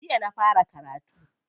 Jiya na fara karatu.